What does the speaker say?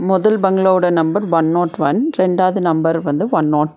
மொதல் பங்களாவோட number one not one ரெண்டாவது நம்பர் வந்து ஒன் நாட் --